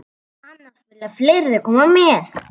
Annars vilja fleiri koma með.